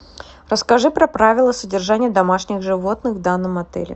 расскажи про правила содержания домашних животных в данном отеле